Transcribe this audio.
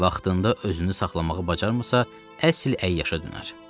Vaxtında özünü saxlamağı bacarmasa, əsl əyyaşa dönər.